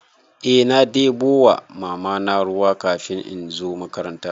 Eh na ɗebo wa Mamana ruwa kafin in zo makaranta.